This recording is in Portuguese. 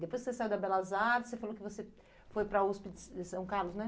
Depois que você saiu da Belas Artes, você falou que você foi para a USP de São Carlos, né?